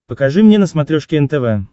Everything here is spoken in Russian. покажи мне на смотрешке нтв